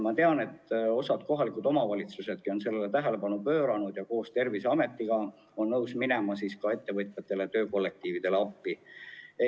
Ma tean, et osa kohalikke omavalitsusigi on sellele tähelepanu pööranud ja on nõus koos Terviseametiga minema ettevõtjatele-töökollektiividele appi.